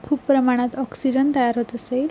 खूप प्रमाणात ऑक्सिजन तयार होत असेल.